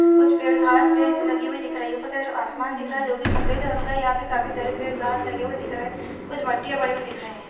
कुछ पेड़ घास लगी हुई दिख रही है ऊपर की तरफ आसमान दिख रहा है जो कि सफ़ेद रंग का यहाँ पर काफी सारे पेड़ घास लगे हुए दिख रहे हैं कुछ मिट्टियाँ पड़ी हुई दिख रही हैं ।